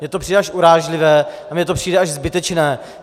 Mně to přijde až urážlivé a mně to přijde až zbytečné.